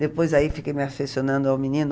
Depois aí fiquei me afeicionando ao menino.